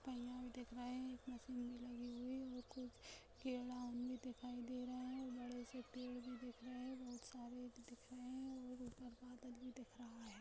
पैयाँ भी दिख रहा है एक मशीन भी लगी हुई है और खूब भी दिखाई दे रहा है बड़े से पेड़ भी दिख रहे हैं बहुत सारे दिख रहे हैं और उप्पर बादल भी दिख रहा है।